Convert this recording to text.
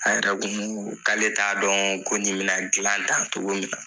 An yɛrɛ kun k'ale t'a dɔn ko nin me na gilan tan cogo min.